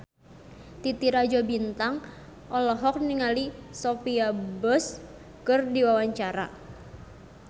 Titi Rajo Bintang olohok ningali Sophia Bush keur diwawancara